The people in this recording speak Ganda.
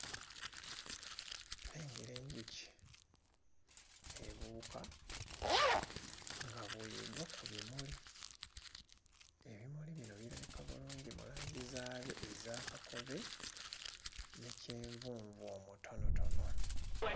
Nnengera enjuki ebuuka nga bw'egwa ku bimuli. Ebimuli bino birabika bulungi mu langi zaabyo eza kakobe ne kyenvunvu omutonotono.